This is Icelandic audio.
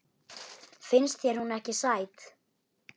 Finnst þér hún ekki sæt?